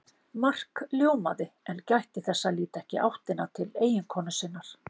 Mark ljómaði en gætti þess að líta ekki í áttina til eiginkonu sinnar.